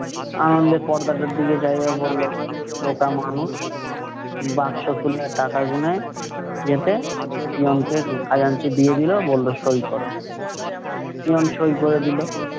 আনন্দে পর্দাটার দিকে যাইয়া বললো, বোকা মানুষ। বাক্স খুলে টাকা গুনে, peon কে খাজাঞ্চি দিয়ে দিলো। বললো, সই করো। peon সই করে দিলো।